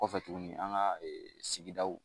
Kɔfɛ tugunni an ka sigidaw.